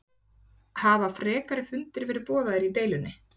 Hafa frekari fundir verið boðaðir í deilunni?